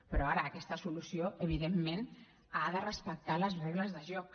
però ara aquesta solució evidentment ha de respectar les regles de joc